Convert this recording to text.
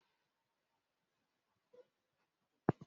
A ga-esi jí n'ụzọ di iche iche n'oge mmemme jí ọhụrụ